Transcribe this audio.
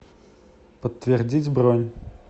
подтвердить бронь